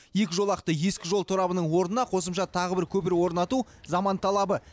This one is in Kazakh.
екі жолақты ескі жол торабының орнына қосымша тағы бір көпір орнату заман талабы